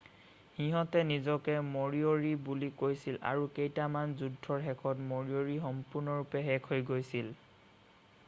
সিহঁতে নিজকে মৰিঅ'ৰি বুলি কৈছিল আৰু কেইখনমান যুদ্ধৰ শেষত মৰিঅ'ৰি সম্পূৰ্ণৰূপে শেষ হৈ গৈছিল